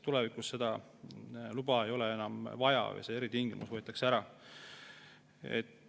Tulevikus seda luba ei ole enam vaja, see eritingimus võetakse ära.